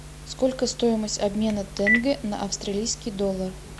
сколько стоимость обмена тенге на австралийский доллар